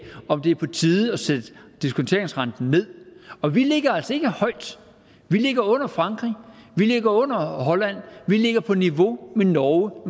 om det var på tide at sætte diskonteringsrenten ned og vi ligger altså ikke højt vi ligger under frankrig vi ligger under holland vi ligger på niveau med norge